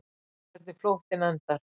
Hvernig flóttinn endar.